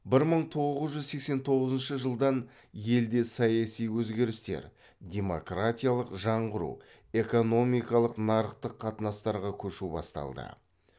бір мың тоғыз жүз сексен тоғызыншы жылдан елде саяси өзгерістер демократиялық жаңғыру экономикалық нарықтық қатынастарға көшу басталды